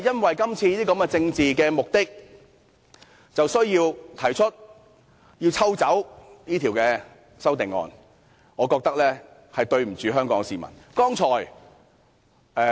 為了今次的政治目的，便要提出撤回《條例草案》，我認為這樣做對不起香港市民。